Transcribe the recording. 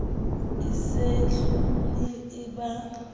e se hlole e ba